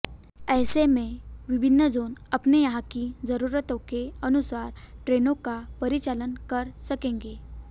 ऐसे में विभिन्न जोन अपने यहां की जरूरतों के अनुसार ट्रेनों का परिचालन कर सकेंगे